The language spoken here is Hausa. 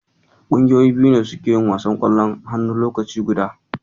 Ƙungiyoyi biyu ne suke yin wasan Ƙwallon hannu lokaci guda.